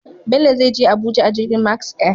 Bello zai Je Abuja a jirgin Max Air